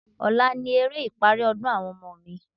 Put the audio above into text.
Ọ̀la ni eré ìparí ọdún àwọn ọmọ mi.